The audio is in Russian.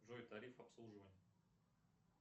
джой тариф обслуживания